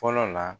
Fɔlɔ la